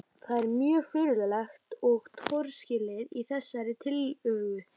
Það er margt mjög furðulegt og torskilið í þessari tillögu.